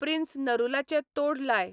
prince नरुलाचें तोढ लाय